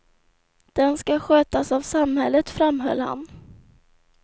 Den ska skötas av samhället, framhöll han.